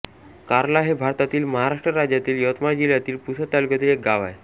कार्ला हे भारतातील महाराष्ट्र राज्यातील यवतमाळ जिल्ह्यातील पुसद तालुक्यातील एक गाव आहे